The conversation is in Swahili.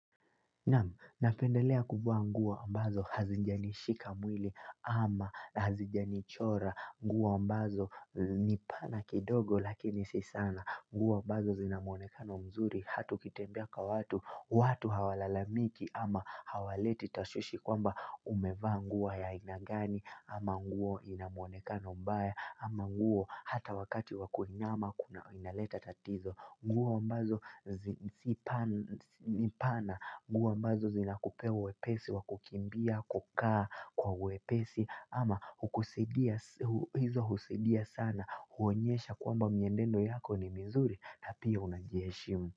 Namu, napendelea kuvaa nguo ambazo hazijanishika mwili ama hazijanichora nguo ambazo ni pana kidogo lakini si sana nguo ambazo zina muonekano mzuri hata ukitembea kwa watu watu hawalalamiki ama hawaleti tashwishi kwamba umevaa nguo ya aina gani ama nguo ina muonekano mbaya ama nguo hata wakati wa kuinama kuna inaleta tatizo nguo ambazo ni pana, nguo ambazo zinakupea uwepesi, wa kukimbia, kukaa kwa uwepesi ama hizo husaidia sana, huonyesha kwamba mienendo yako ni mzuri na pia unajiheshimu.